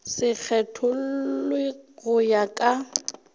se kgethollwe go ya ka